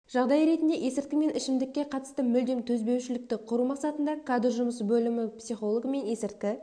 жағдай ретінде есірткі мен ішімдікке қатысты мүлдем төзбеушілікті құру мақсатында кадр жұмысы бөлімі психологімен есірткі